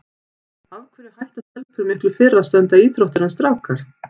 Af hverju hætta stelpur miklu fyrr að stunda íþróttir en strákar?